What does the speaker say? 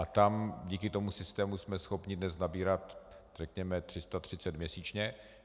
A tam díky tomu systému jsme schopni dnes nabírat řekněme 330 měsíčně.